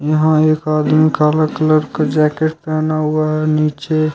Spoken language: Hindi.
यहां एक आदमी काला कलर का जैकेट पहना हुआ है नीचे--